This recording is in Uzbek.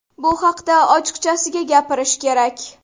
Bu haqda ochiqchasiga gapirish kerak.